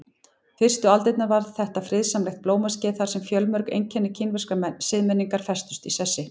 Fyrstu aldirnar var þetta friðsamlegt blómaskeið þar sem fjölmörg einkenni kínverskrar siðmenningar festust í sessi.